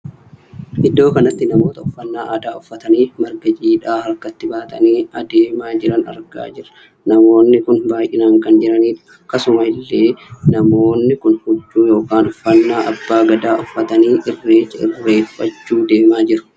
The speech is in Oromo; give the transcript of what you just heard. Iddoo kanatti namoota uffannaa aadaa uffatanii marga jiidhaa harkatti baatanii adeemaa jiran argaa jirra. Namoonni kun baay'inaan kan jiranidha. akkasuma illee namoonni namoonni kun huccuu ykn uffannaa abbaa gadaa uffatanii irreecha irreeffachuu deemaa jiru.